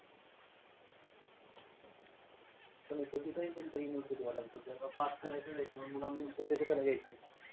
पण हे चुकीचं आहे तेंचं university वाल्यांचं. जर का pass करायचंच आहे मुलांकडून पैशे कशाला घ्यायचं?